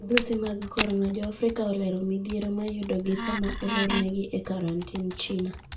Midhusi mag Corona:Joafrika olera midhiero mayudogi sama olorne gi e karantin China.